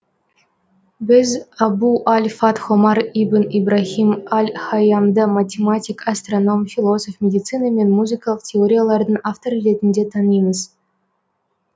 біз абу ль фатх омар ибн ибраһим аль һайямды математик астроном философ медицина мен музыкалық теориялардың авторы ретінде танимыз